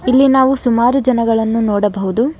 ಇಲ್ಲಿ ನಾವು ಸುಮಾರು ಜನಗಳನ್ನು ನೋಡಬಹುದು.